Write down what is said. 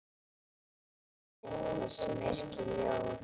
Skáld er einhver sem yrkir ljóð.